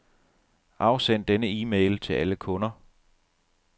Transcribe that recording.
Afsend denne e-mail til alle kunder.